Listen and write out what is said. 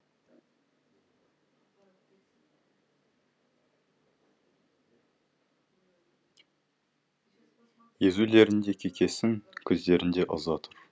езулерінде кекесін көздерінде ыза тұр